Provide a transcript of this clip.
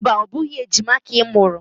Mba, ọ bụghị ejima ka ị mụrụ.